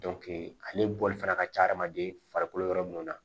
ale bɔli fana ka ca adamaden farikolo yɔrɔ minnu na